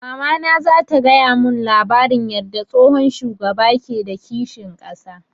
Mamana za ta gaya mun labarin yarda tsohon shugaba ke da kishin ƙasa